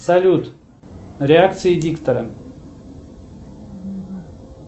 салют реакции диктора